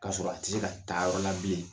K'a sɔrɔ a tɛ se ka taa yɔrɔ la bilen.